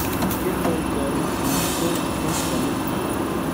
Kendoi karon anan ko koskolen